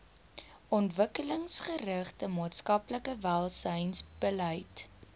ontwikkelingsgerigte maatskaplike welsynsbeleid